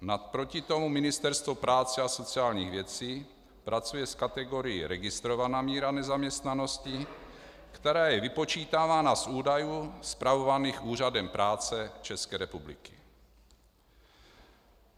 Naproti tomu Ministerstvo práce a sociálních věcí pracuje s kategorií registrovaná míra nezaměstnanosti, která je vypočítávána z údajů spravovaných Úřadem práce České republiky.